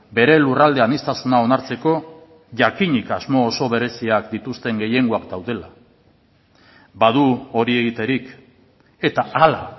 bere lurralde aniztasuna onartzeko jakinik asmo oso bereziak dituzten gehiengoak daudela badu hori egiterik eta hala